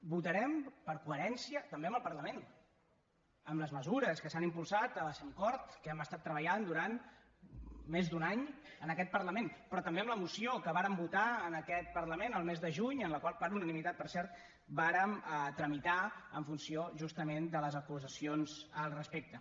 votarem per coherència també amb el parlament amb les mesures que s’han impulsat a la cemcord que hi hem estat treballant durant més d’un any en aquest parlament però també amb la moció que vàrem votar en aquest parlament el mes de juny en la qual per unanimitat per cert vàrem tramitar en funció justament de les acusacions al respecte